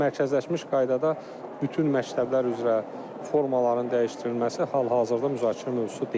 Amma mərkəzləşmiş qaydada bütün məktəblər üzrə formaların dəyişdirilməsi hal-hazırda müzakirə mövzusu deyil.